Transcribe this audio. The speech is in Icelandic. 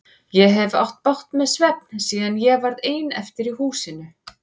Ég hef átt bágt með svefn síðan ég varð ein eftir í húsinu.